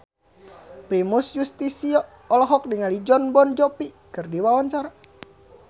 Primus Yustisio olohok ningali Jon Bon Jovi keur diwawancara